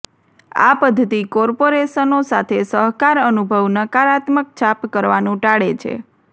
આ પદ્ધતિ કોર્પોરેશનો સાથે સહકાર અનુભવ નકારાત્મક છાપ કરવાનું ટાળે છે